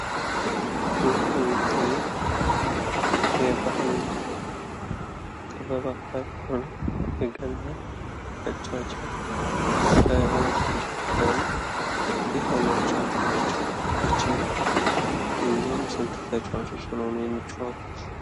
ይህ የሚታየው የባህል ጥበብ አካል የሆነው የገና ጨዋታ ነው። ይህንን ጨዋታ የሚጫወቱት መቼ ነው? እንዲሁም ስንት ተጫዋቾች ሆነው ነው የሚጫወቱት?